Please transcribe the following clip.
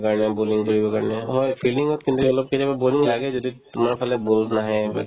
bowling কৰিব পাৰি না হয় fielding ত কেতিয়াবা boring লাগে যদি তোমাৰ ফালে ball নাহে বা কিবা